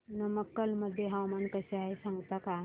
नमक्कल मध्ये हवामान कसे आहे सांगता का